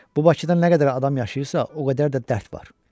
Bu Bakıda nə qədər adam yaşayırsa, o qədər də dərd var.